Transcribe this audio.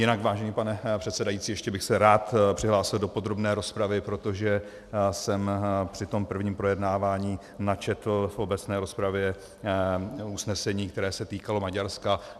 Jinak, vážený pane předsedající, ještě bych se rád přihlásil do podrobné rozpravy, protože jsem při tom prvním projednávání načetl v obecné rozpravě usnesení, které se týkalo Maďarska.